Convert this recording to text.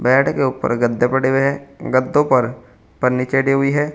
Bed के ऊपर गद्दे पड़े हुए हैं गद्दों पर पन्नी चढ़ी हुई है।